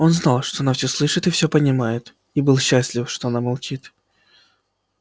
он знал что она всё слышит и всё понимает и был счастлив что она молчит